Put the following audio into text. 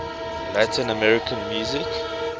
latin american music